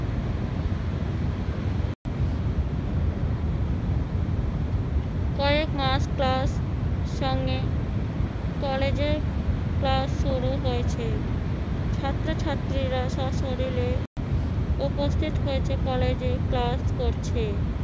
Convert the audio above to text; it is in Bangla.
কয়েকমাস class সঙ্গে কলেজে class শুরু হয়েছে। ছাত্রছাত্রীরা স্বশরীররে উপস্থিত হয়েছে। কলেজে class করছে।